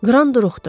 Qran duruxdu.